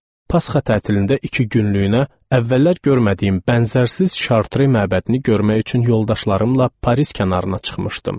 Pasxa tətilində iki günlük əvvəllər görmədiyim bənzərsiz Şartri məbədini görmək üçün yoldaşlarımla Paris kənarına çıxmışdım.